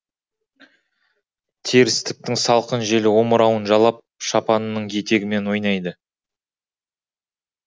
терістіктің салқын желі омырауын жалап шапанының етегімен ойнайды